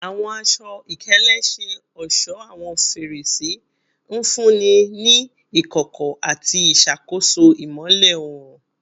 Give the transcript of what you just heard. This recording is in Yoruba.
Awọn aṣọ-ikele ṣe ọṣọ awọn ferese, nfunni ni ikọkọ ati iṣakoso imọlẹ oorun